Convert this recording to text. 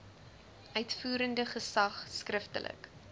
uitvoerende gesag skriftelik